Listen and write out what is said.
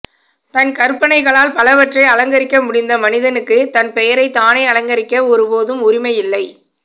தன் கற்பனைகளால் பலவற்றை அலங்கரிக்க முடிந்த மனிதனுக்கு தன் பெயரை தானே அலங்கரிக்க ஒரு போதும் உரிமை இல்லை